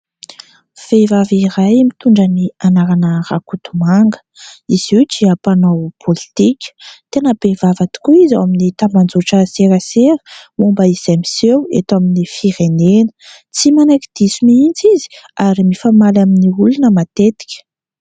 Vehivavy iray mitondra ny anarana : Rakotomanga. Izy io dia mpanao politika ; tena be vava tokoa izy ao amin'ny tambajotra serasera momba izay miseho eto amin'ny firenena ; tsy manaiky diso mihitsy izy ary mifamaly amin'ny olona matetika.